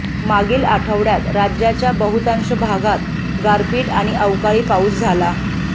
मागील आठवड्यात राज्याच्या बहुतांश भागात गारपीट आणि अवकाळी पाऊस झाला